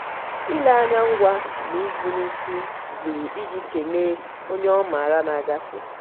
ile anya ngwa na ịdụ n'isi zuru iji kelee onye ọ maara na-agafe.